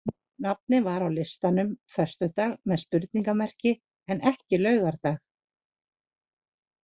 Nafnið var á listanum föstudag með spurningamerki en ekki laugardag.